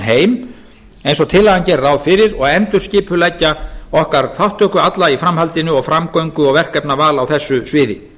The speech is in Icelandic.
heim eins og tillagan gerir ráð fyrir og endurskipuleggja í okkar þátttöku alla í framhaldinu og framgöngu og verkefnaval á þessu sviði